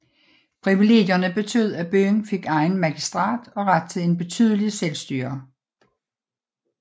Privilegierne betød at byen fik egen magistrat og ret til et betydeligt selvstyre